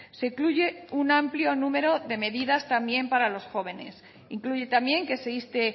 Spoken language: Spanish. se incluye un amplio número de medidas también para los jóvenes incluye también que ese inste